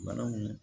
Banaw